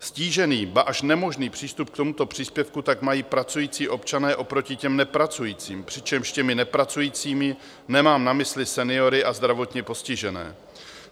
Ztížený, ba až nemožný přístup k tomuto příspěvku tak mají pracující občané oproti těm nepracujícím, přičemž těmi nepracujícími nemám na mysli seniory a zdravotně postižené.